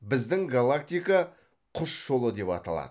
біздің галактика құс жолы деп аталады